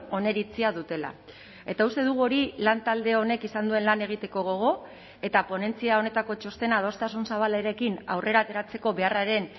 oniritzia dutela eta uste dugu hori lantalde honek izan duen lan egiteko gogo eta ponentzia honetako txostena adostasun zabalarekin aurrera ateratzeko beharraren